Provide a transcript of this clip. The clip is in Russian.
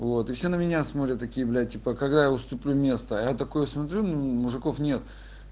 вот и все на меня смотрят такие блядь типа когда я уступлю место а я такой смотрю мужиков нет